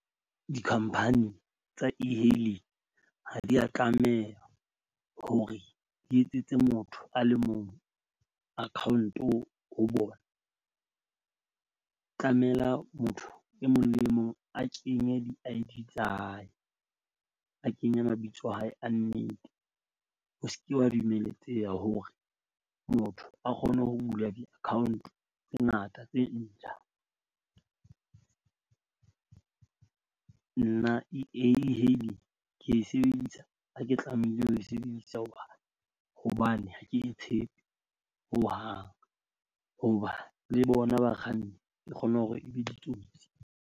Di-company tsa E-hailing ha di a tlameha hore di etsetse motho a le mong account-o ho bona. Tlamela motho e mong le e mong a kenye I_D tsa hae, a kenye mabitso a hae, a nnete. Ho se ke ha dumeletseha hore motho a kgone ho bula di-account tse ngata tse ntjha. Nna E-hailing ke e sebedisa ha ke tlamehile ho e sebedisa hoba hobane ha ke tshepe hohang ho ba le bona bakganni e kgone hore e be ditsotsi.